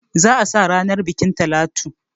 Za a sa ranan bukin Talatu.